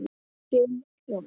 Bill hló.